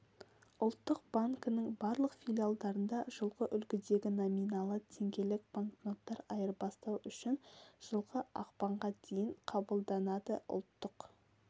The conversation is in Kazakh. ұлттық банкінің барлық филиалдарында жылғы үлгідегі номиналы теңгелік банкноттар айырбастау үшін жылғы ақпанға дейін қабылданады ұлттық